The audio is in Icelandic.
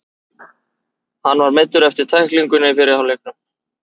Hann var meiddur eftir tæklinguna í fyrri hálfleiknum.